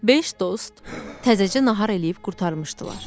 Beş dost təzəcə nahar eləyib qurtarmışdılar.